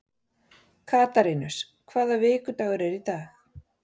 Katarínus, hvaða vikudagur er í dag?